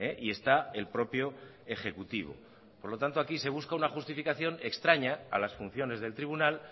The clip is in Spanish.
y está el propio ejecutivo por lo tanto aquí se busca una justificación extraña a las funciones del tribunal